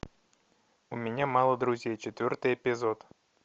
у меня мало друзей четвертый эпизод